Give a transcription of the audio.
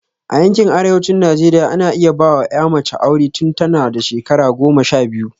A yankin arewacin Najeriya, ana iya ba wa ‘ya mace aure tun tana da shekara goma sha biyu.